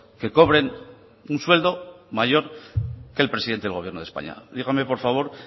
que cobren un sueldo mayor que el presidente del gobierno de españa dígame por favor